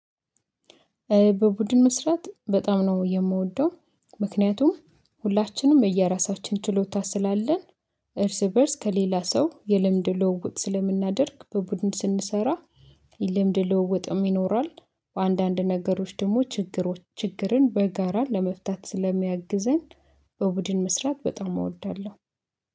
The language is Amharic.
በቡድን መስራት በጣም ነው የምወደው። ምክንያቱም ሁላችንም የየራሳችን ችሎታ ስላለን። እርስ በእርስ ከሌላ ሰው የልምድ ልውውጥ ስለምናደርግ በቡድን ስንሰራ። ልምድ ልውውጥም ይኖራል። በአንዳንድ ነገሮች ደግሞ ችግሮች ችግርን በጋራ ለመፍታት ስለሚያግዘን በቡድን መስራት በጣም እወዳለሁ